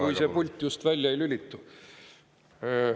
Kui see pult just välja ei lülitu.